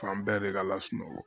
Fan bɛɛ de ka lasunɔgɔ